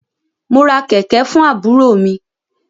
Mo ra kẹ̀kẹ̀ fún àbúrò mi.